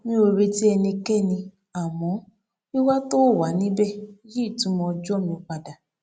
mi ò retí ẹnikẹni àmọ wíwà tó o wà níbẹ yí ìtumọ ọjọ mi padà